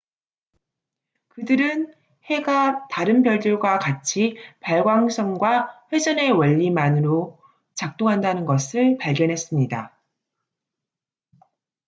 그들은 해가 다른 별들과 같이 발광성과 회전의 원리만으로 작동한다는 것을 발견했습니다